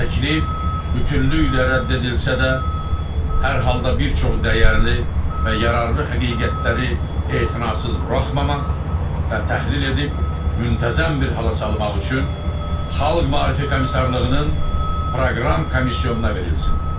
Təklif bütövlüklə rədd edilsə də, hər halda bir çox dəyərli və yararlı həqiqətləri etinasız buraxmamaq və təhlil edib müntəzəm bir hala salmaq üçün Xalq Maarif komissarlığının proqram komissiyasına verilsin.